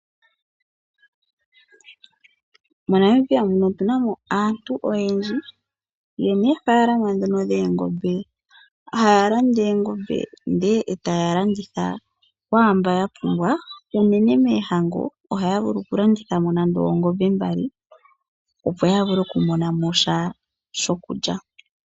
MoNamibia muno otunamo aantu oyendji yena oofalama dhoongombe. Haya landa oongombe ndele taya landitha kwaamboka ya pumbwa, unene moohango ohaya vulu oku landithamo nande oongombe mbali opo ya vule oku monamo sha shokulya.